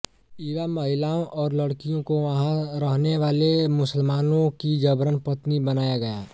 युवा महिलाओं और लड़कियों को वहां रहने वाले मुसलमानों की जबरन पत्नी बनाया गया